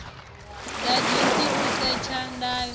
ḓaḓisi u setha ndayo tewa